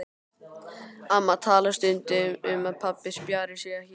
Amma talar stundum um að pabbi spjari sig ekki.